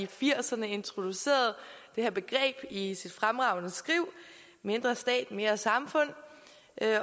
firserne introducerede det her begreb i sit fremragende skriv mindre stat mere samfund